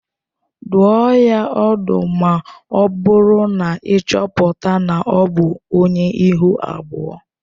Dụọ ya ọdụ ma ọ bụrụ na ị chọpụta na ọ bụ onye ihu abụọ